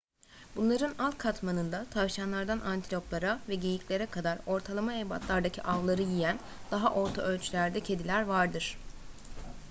bunların alt katmanında tavşanlardan antiloplara ve geyiklere kadar ortalama ebatlardaki avları yiyen daha orta ölçülerde kediler vardır